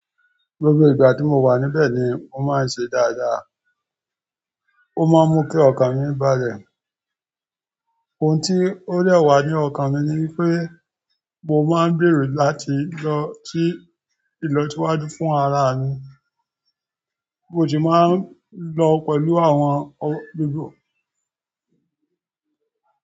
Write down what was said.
Gbogbo ìgbà tí mo wà níbẹ̀ ni mó máa ń ṣe dáadáa. Ó máa ń mú kí ọkàn mi bá lẹ̀. Oun ti ó de wa ni ọkàn mi ni wípé mo máa ń gbèrò láti lọ sí ìlọsíwájú fún ara mi bi mo sì máa ń lọ pẹ̀lú àwọn òbí-òbí.